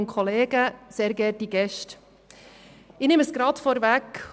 Ich nehme es gerade vorweg.